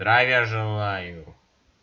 здравия желаю